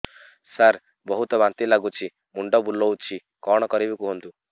ସାର ବହୁତ ବାନ୍ତି ଲାଗୁଛି ମୁଣ୍ଡ ବୁଲୋଉଛି କଣ କରିବି କୁହନ୍ତୁ